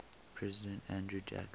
president andrew jackson